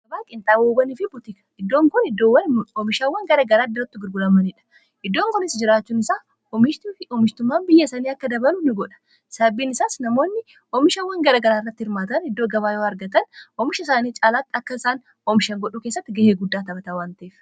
aaqiintaawobanii fi butika iddoon kun oomishaawwan garagaraa dirattu girgulamaniidha iddoon kun is jiraachuun isaa oomishtummaan biyya isanii akka dabalu in godha sababbiin isaas namoonni oomishaawwan garagaraa irratti hirmaatan iddoo gabaa yoo argatan oomisha isaanii caalaatti akka isaan oomishan godhuu keessatti ga'ee guddaa taphataawwantiif